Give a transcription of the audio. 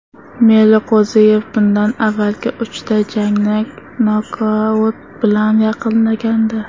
Meliqo‘ziyev bundan avvalgi uchta jangni nokaut bilan yakunlagandi.